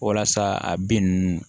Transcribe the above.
Walasa a bin ninnu